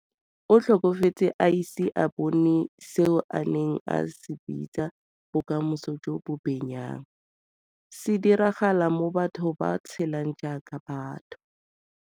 O tlhokafetse a ise a bone seo a neng a se bitsa bokamoso jo bo benyang, se diragala mo batho ba tshelang jaaka batho.